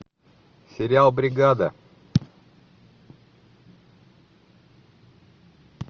сериал бригада